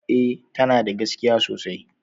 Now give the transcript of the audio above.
E, tana da gaskiya sosai